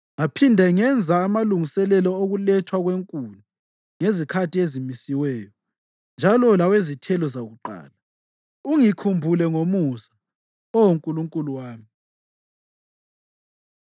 Ngaphinde ngenza amalungiselelo okulethwa kwenkuni ngezikhathi ezimisiweyo, njalo lawezithelo zokuqala. Ungikhumbule ngomusa, Oh Nkulunkulu wami.